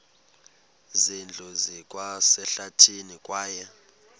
zindlu zikwasehlathini kwaye